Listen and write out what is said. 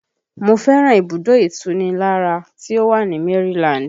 Mo fẹ́ràn ibùdó ìtunilára tí ó wà ní Maryland